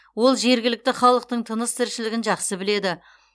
ол жергілікті халықтың тыныс тіршілігін жақсы біледі